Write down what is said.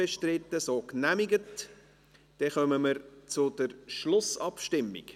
Dann kommen wir zur Schlussabstimmung.